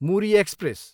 Muri express